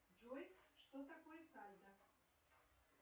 джой что такое сальдо